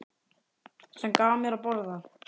Sem gaf mér að borða.